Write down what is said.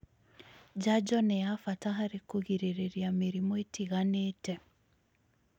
Njanjo nĩ ya bata harĩ kũgirĩrĩria mĩrimũ ĩtiganĩte